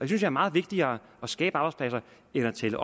det er meget vigtigere at skabe arbejdspladser end at tælle